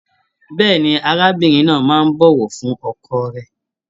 Bẹ́ẹ̀ni, arábìnrin náà máa n bọwọ fún ọkọ rẹ.